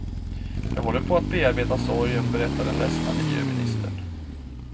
Jag håller på att bearbeta sorgen, berättar den ledsna miljöministern.